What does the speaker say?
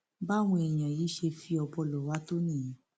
báwọn èèyàn yìí ṣe fi ọbọ ló wá tó nìyẹn